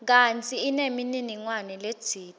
kantsi inemininingwane letsite